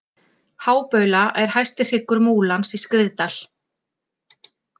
Hábaula er hæsti hryggur Múlans í Skriðdal.